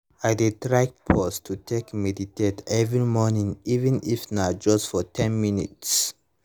i dey try pause to take meditate every morning even if na just for ten minutes